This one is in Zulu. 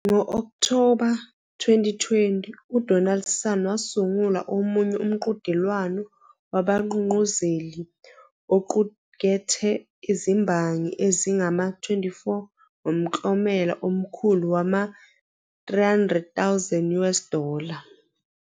Ngo-Okthoba 2020, uDonaldson wasungula omunye umqhudelwano wabagqugquzeli oqukethe izimbangi ezingama-24 ngomklomelo omkhulu wama- 300,000 US dollar.